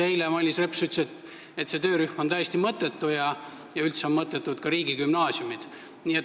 Eile Mailis Reps ütles, et see töörühm on täiesti mõttetu ja üldse on mõttetud ka riigigümnaasiumid.